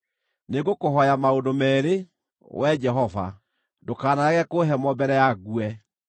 “Nĩngũkũhooya maũndũ meerĩ, Wee Jehova; ndũkanarege kũhe mo mbere ya ngue: